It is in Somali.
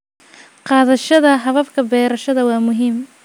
Qaadashada hababka beerashada waara waa muhiim.